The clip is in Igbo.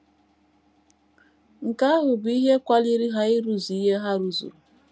Nke ahụ bụ ihe kwaliri ha ịrụzu ihe ha rụzuru. ”